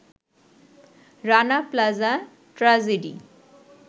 Rana Plaza tragedy